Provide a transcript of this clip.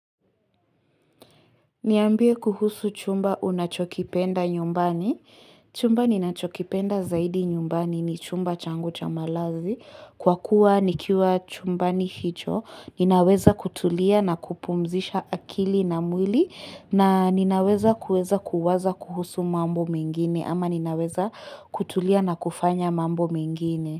Niambie kuhusu chumba unachokipenda nyumbani. Chumba ninachokipenda zaidi nyumbani ni chumba changu chamalazi. Kwa kuwa nikiwa chumbani hicho ninaweza kutulia na kupumzisha akili na mwili na ninaweza kuweza kuwaza kuhusu mambo mingine ama ninaweza kutulia na kufanya mambo mengine.